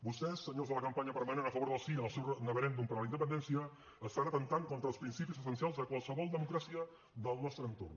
vostès senyors de la campanya permanent a favor del sí en el seu neverèndum per a la independència estan atemptant contra els principis essencials de qualsevol democràcia del nostre entorn